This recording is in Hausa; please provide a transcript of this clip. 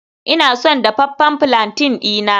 Ina son dafaffen palantin dina